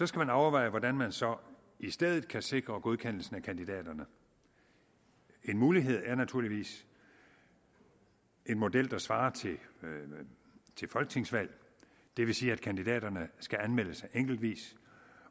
skal man overveje hvordan man så i stedet kan sikre godkendelsen af kandidaterne en mulighed er naturligvis en model der svarer til folketingsvalg det vil sige at kandidaterne skal anmelde sig enkeltvis